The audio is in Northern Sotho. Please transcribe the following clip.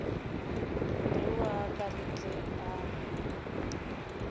tau a ka ntle a